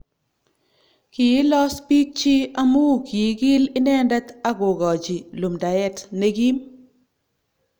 Kiilos biikchi amu kiigil inendet ak kogochi lumdaet ne kiim